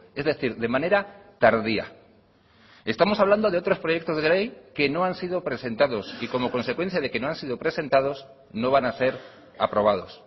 es decir de manera tardía estamos hablando de otros proyectos de ley que no han sido presentados y como consecuencia de que no han sido presentados no van a ser aprobados